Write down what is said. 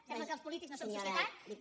sembla que els polítics no som societat